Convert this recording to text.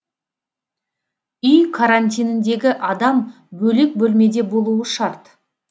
үй карантиніндегі адам бөлек бөлмеде болуы шарт